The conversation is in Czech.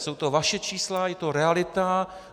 Jsou to vaše čísla, je to realita.